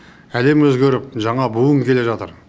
әлем өзгеріп жаңа буын келе жатыр